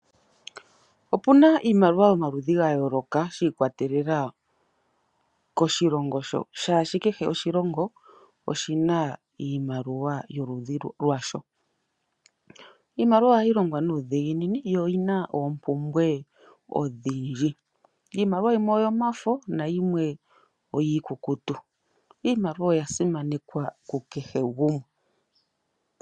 Opuna iimaliwa yomaludhi ga yooloka shi ikwatelela koshilongo sho, shaashi kehe oshilongo oshina iimaliwa yoludhi lwasho. Iimaliwa ohayi longwa nuudhiginini, yo oyina oompumbwe odhindji. Iimaliwa yimwe oyomafo nayimwe oyiikukutu. Iimaliwa oya simanekwa ku kehe gumwe.